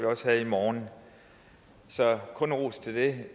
også have i morgen så kun ros til det